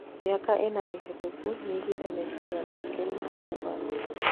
Mĩaka ĩnana mĩhetũku, nĩoigĩte meciria make marĩ mũgarũ